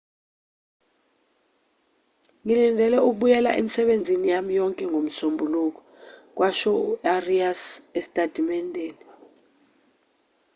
ngilindele ukubuyela emisebenzini yami yonke ngomsombuluko kwasho u-arias esitatimendeni